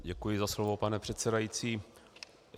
Děkuji za slovo, pane předsedající.